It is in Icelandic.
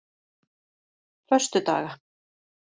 föstudaga